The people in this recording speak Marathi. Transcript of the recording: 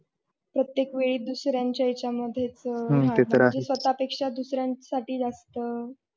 प्रत्येक वेळी दुसऱ्याच्या याचा मध्ये म्हणजे स्वतःपेक्षा दुसऱ्यासाठी जास्त.